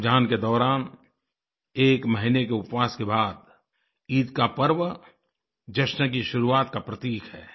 रमज़ानके दौरान एक महीने के उपवास के बाद ईद का पर्व जश्न की शुरुआत का प्रतीक है